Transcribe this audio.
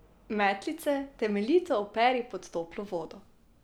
Metlice temeljito operi pod toplo vodo.